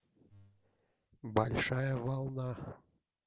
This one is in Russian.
большая волна